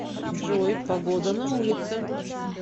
джой погода на улице